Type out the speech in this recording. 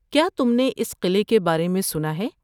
کیا تم نے اس قلعے کے بارے میں سنا ہے؟